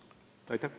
Aitäh!